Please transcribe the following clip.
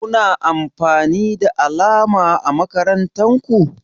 Kuna amfani da alama ã makarantan ku?